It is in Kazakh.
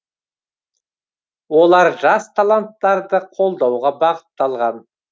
олар жас таланттарды қолдауға бағытталған